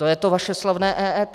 To je to vaše slavné EET.